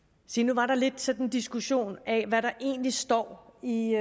se nu var der lidt sådan en diskussion af hvad der egentlig står i i